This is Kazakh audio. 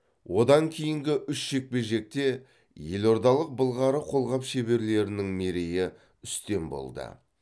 одан кейінгі үш жекпе жекте елордалық былғары қолғап шеберлерінің мерейі үстем болды